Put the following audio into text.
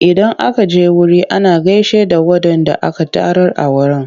Idan aka je wuri ana gaishe da waɗanda aka tarar a wurin.